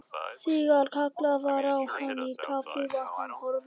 Þegar kallað var á hann í kaffi var hann horfinn.